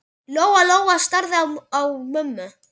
Lóa-Lóa starði á mömmu.